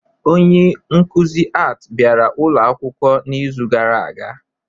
Onye nkuzi Art bịara ụlọ akwụkwọ n'izu gara aga?